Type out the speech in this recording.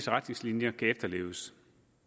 retningslinjer kan efterleves